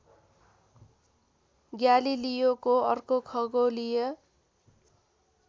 ग्यालिलियोको अर्को खगोलीय